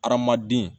Hadamaden